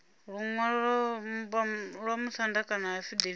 luṅwalo lwa vhamusanda kana afidaviti